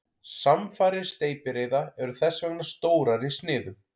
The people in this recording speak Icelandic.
Samfarir steypireyða eru þess vegna stórar í sniðum.